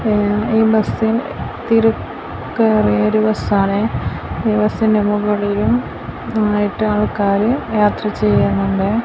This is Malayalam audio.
ഈ ബസ് തിര ക്കേറിയൊരു ബസ്സാണ് ഈ ബസ്സിന്റെ മുകളിലും ആയിട്ട് ആൾക്കാർ യാത്ര ചെയ്യുന്നുണ്ട്.